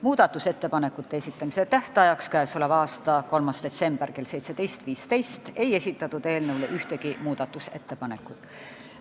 Muudatusettepanekute esitamise tähtajaks, milleks oli 3. detsember kell 17.15, ei esitatud ühtegi ettepanekut.